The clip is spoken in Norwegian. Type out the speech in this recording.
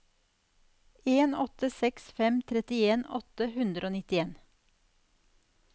en åtte seks fem trettien åtte hundre og nittien